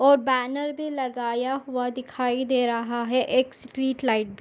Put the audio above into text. और बैनर भी लगाया हुआ दिखाई दे रहा है एक स्ट्रीट लाइट --